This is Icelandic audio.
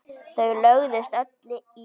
Þau lögðust öll í grasið.